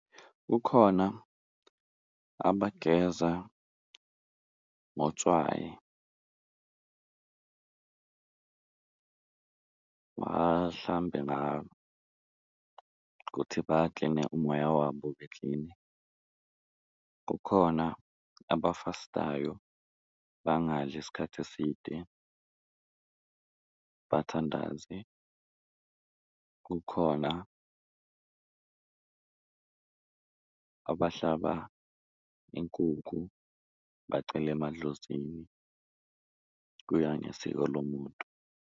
Ukhona abageza ngotswayi bahlambe ngalo kuthi bakline umoya wabo ube klini, kukhona abafastayo bangadli isikhathi eside bathandaze, kukhona abahlaba inkukhu bacele emadlozini, kuya ngesiko lomuntu.